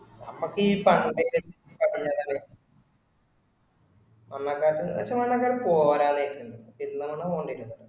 നമക്ക് ഈ പക്ഷെ നമക്ക് അങ്ങോട്ടത് പോരാ ഇരിക്കുന്നുണ്ട്